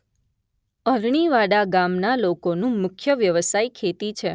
અરણીવાડા ગામના લોકોનો મુખ્ય વ્યવસાય ખેતી છે.